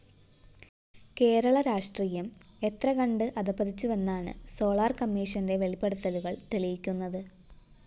കേരള രാഷ്ട്രീയം എത്രകണ്ട് അധഃപതിച്ചുവെന്നാണ് സോളാർ കമ്മീഷന്റെ വെളിപ്പെടുത്തലുകള്‍ തെളിയിക്കുന്നത്